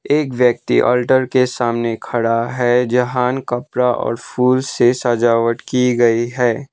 एक व्यक्ति अल्टर के सामने खड़ा है जहां कपड़ा और फूल से सजावट की गई है।